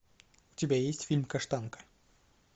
у тебя есть фильм каштанка